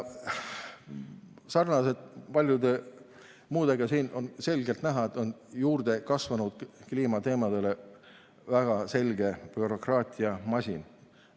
Sarnaselt paljude muude teemadega on siin selgelt näha, et kliimateemadele on juurde kasvanud väga selge bürokraatiamasin.